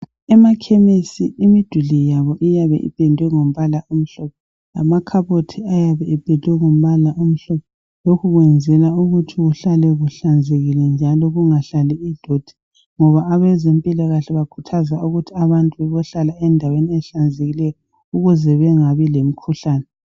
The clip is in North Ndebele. Emakhemisi, imiduli yabo iyabe ipendwe ngombala omhlophe kanye lamakhabothi. Lokho kwenzelwa ukuthi kuhlale kuhlanzekile njalo kungahlali idoti, ngoba abezempilakahle bakhuthaza ukuthi abantu bebohlala endaweni ehlanzekileyo, ukuze bengabi lemikhuhlane.